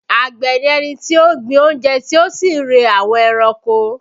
Àgbẹ̀ ni ẹni tí ó ń gbin oúnjẹ tí ó sì ń re àwọn ẹranko